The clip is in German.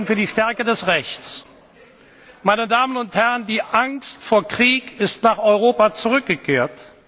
Einzug hält? Wir stehen für die Stärke des Rechts! Meine Damen und Herren! Die Angst vor Krieg ist nach Europa